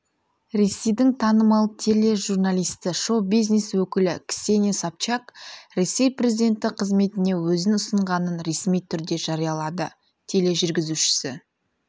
ресейдің танымал тележурналисті шоу-бизнес өкілі ксения собчак ресей президенті қызметіне өзін ұсынғанын ресми түрде жариялады тележүргізушісі